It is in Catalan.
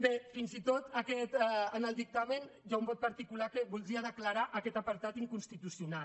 bé fins i tot en el dictamen hi ha un vot particular que voldria declarar aquest apartat inconstitucional